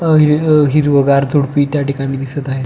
अ हि हिरविगार झुडपी त्या ठिकाणी दिसत आहे.